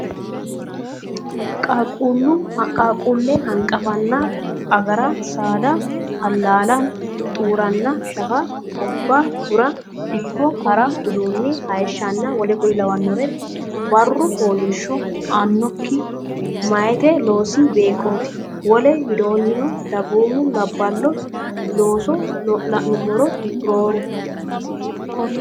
qaaqquulle hanqafanna agara saada allaala xuuranna shafa obba gura dikko ha ra uduunne hayishshanna w k l barru fooliishsho aannokki meyate loosi beeqqooti Wole widoonni dagoomu labballo looso la nummoro rooru.